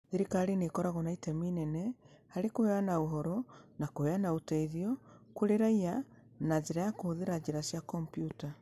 Thirikari nĩ ĩkoragwo na itemi inene harĩ kũheana ũhoro na kũheana ũteithio kũrĩ raiya na njĩra ya kũhũthĩra njĩra cia kompiuta.